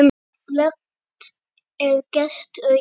En glöggt er gests augað.